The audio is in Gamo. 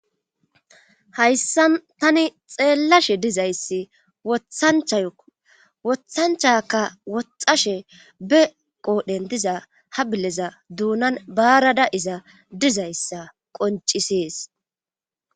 hayssa tani xeellashe dizayssi wothanchaka woxashe be qoodhendiza ha bileza duunan baarada iza dizayssa qoncisees